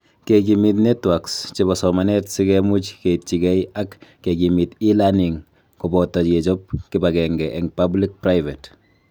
Kekimit networks chebo somanet si kemuch keityigei ak kekimit e-learning koboto kechob kibagenge eng public-private